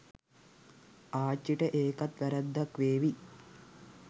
ආච්චිට ඒකත් වැරැද්දක් වේවි